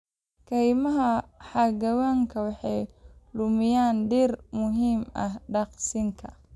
Kaymaha xayawaanka waxay lumiyaan dhir muhiim u ah daaqsinka.